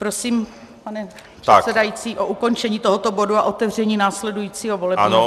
Prosím, pane předsedající, o ukončení tohoto bodu a otevření následujícího volebního bodu.